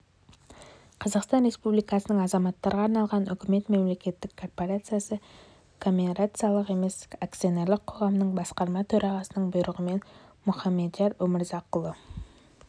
қазақстан республикасының азаматтарға арналған үкімет мемлекеттік корпорациясы коммерциялық емес акционерлік қоғамының басқарма төрағасының бұйрығымен мұхамадияр өмірзақұлы